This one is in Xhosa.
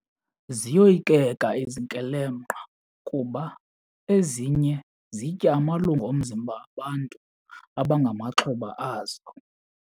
Ziyoyikeka izikrelemnqa kuba ezinye zitya amalungu omzimba abantu abangamaxhoba azo.